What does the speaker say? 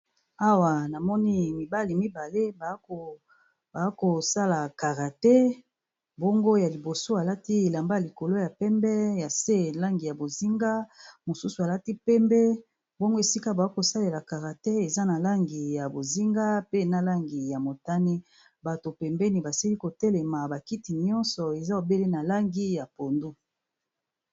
Awa namoni mibali mibale bako sala karate, bongo ya liboso alati elamba ya likolo ya pembe ya se langi ya bozinga. Mosusu alati pembe, bongo esika bako sala karate eza na langi ya bozinga, pe na langi ya motane. Batu pembeni basili ko telema, ba kiti nioso eza obele na langi ya pondu.